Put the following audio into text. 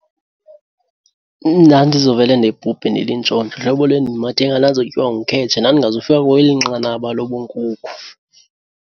Ndandizovele ndibhubhe ndilintshontsho, hlobo le ndimathe ngalo ndandizotyiwa ngukhetsha. Ndandingazufika kwakweli nqanaba lobunkukhu.